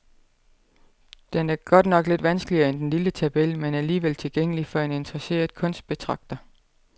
Den er godt nok lidt vanskeligere end den lille tabel, men alligevel tilgængelig for en interesseret kunstbetragter.